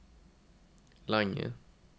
lange